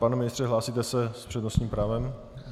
Pane ministře, hlásíte se s přednostním právem?